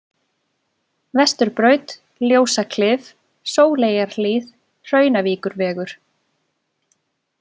Vesturbraut, Ljósaklif, Sóleyjarhlíð, Hraunavíkurvegur